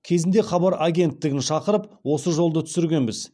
кезінде хабар агенттігін шақырып осы жолды түсіргенбіз